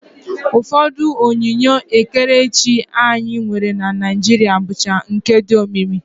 Ụfọdụ onyinye ekerechi anyị nwere na Naijiria bụcha nke dị omimi